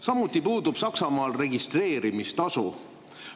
Samuti puudub Saksamaal registreerimistasu.